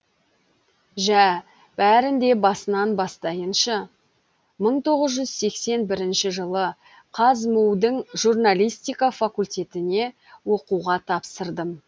жә бәрін де басынан бастайыншы мың тоғыз жүз сексен бірінші жылы қазму дің журналистика факультетіне оқуға тапсырдым